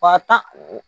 Wa tan